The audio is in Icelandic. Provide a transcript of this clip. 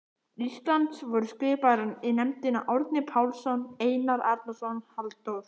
Íslands voru skipaðir í nefndina Árni Pálsson, Einar Arnórsson, Halldór